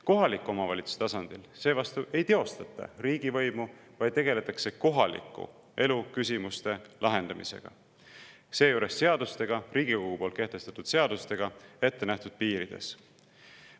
Kohaliku omavalitsuse tasandil seevastu ei teostata riigivõimu, vaid tegeldakse kohaliku elu küsimuste lahendamisega, seejuures tehakse seda seadustega, Riigikogu kehtestatud seadustega ettenähtud piirides.